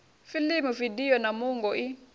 fiḽimu vidio na muungo i